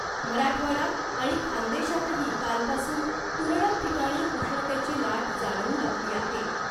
मराठवाडा आणि खानदेशातही कालपासून तुरळक ठिकाणी उष्णतेची लाट जाणवू लागली आहे .